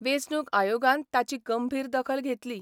वेंचणूक आयोगान ताची गंभीर दखल घेतली.